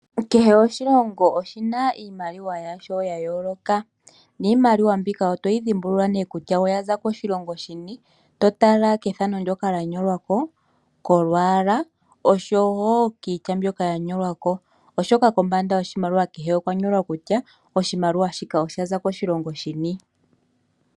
Kehe oshilongo oshina iimaliwa yasho ya yooloka, niimaliwa mbika otoyi dhimbulula nee kutya oyaza koshilongo shini, totala kethano ndyoka lya nyolwako, kolwaala, noshowo kiitya mbyoka ya nyolwako. Oshoka kombanda yoshimaliwa kehe okwa nyolwa kutya oshimaliwa shino osha za kiilongo yini.